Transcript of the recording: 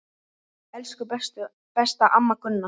Elsku besta amma Gunna.